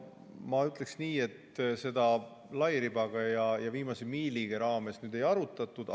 No ma ütleksin nii, et seda lairiba ja viimase miili teemal ei arutatud.